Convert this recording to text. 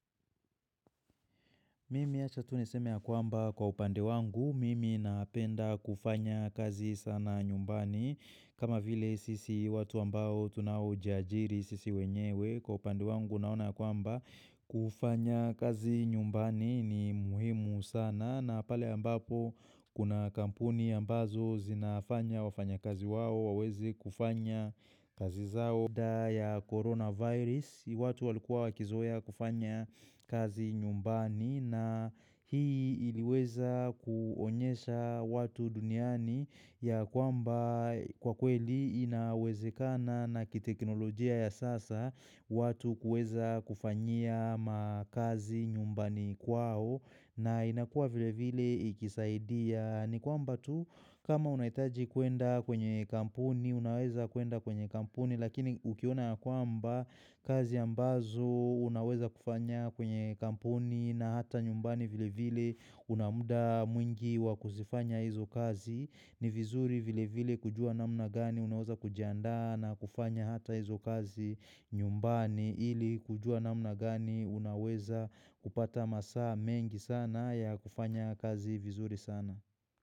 Mimi achatuniseme ya kwamba kwa upande wangu, mimi napenda kufanya kazi sana nyumbani kama vile sisi watu ambao tunawo jiajiri sisi wenyewe kwa upande wangu naona kwamba kufanya kazi nyumbani ni muhimu sana na pale ambapo kuna kampuni ambazo zinafanya wafanya kazi wao wawezi kufanya kazi zao ya coronavirus, watu walikuwa wakizoea kufanya kazi nyumbani na hii iliweza kuonyesha watu duniani ya kwamba kwa kweli inawezekana na kiteknolojia ya sasa watu kuweza kufanyia makazi nyumbani kwao na inakua vile vile ikisaidia. Ni kwamba tu kama unaitaji kwenda kwenye kampuni, unaweza kwenda kwenye kampuni lakini ukiona kwamba kazi ambazo unaweza kufanya kwenye kampuni na hata nyumbani vile vile unamuda mwingi wakuzifanya hizo kazi. Ni vizuri vile vile kujua namna gani unaweza kujanda na kufanya hata hizo kazi nyumbani ili kujua namna gani unaweza kupata masa mengi sana ya kufanya kazi vizuri sana.